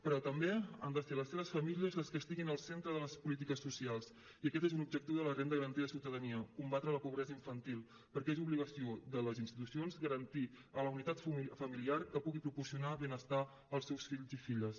però també han de ser les seves famílies les que estiguin al centre de les polítiques socials i aquest és un objectiu de la renda garantida de ciutadania combatre la pobresa infantil perquè és obligació de les institucions garantir a la unitat familiar que pugui proporcionar benestar als seus fills i filles